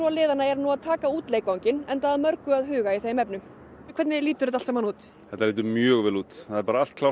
liðanna eru nú að taka út leikvanginn enda að mörgu að huga í þeim efnum hvernig lítur þetta allt saman út þetta lítur mjög vel út það er bara allt klárt